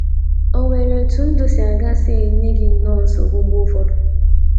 O NWERE ETU NDỤ SI AGA SI ENYE GỊ NNỌỌ NSOGBU MGBE ỤFỌDỤ?